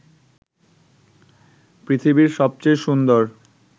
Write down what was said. পৃথিবীর সবচেয়ে সুন্দর